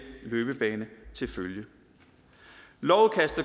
løbebane til følge